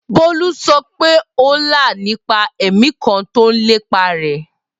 Bolu sọ pe o la nipa ẹmi kan ti o lepa rẹ